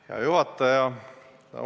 Hea juhataja!